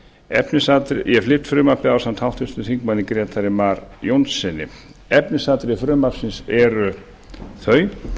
ég flyt frumvarpið ásamt háttvirtum þingmanni grétari mar jónssyni efnisatriði frumvarpsins eru þau